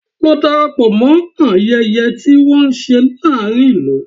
Lọ darapọ̀ mọ ayẹyẹ tí wọ́n ń ṣe láàárín ìlú!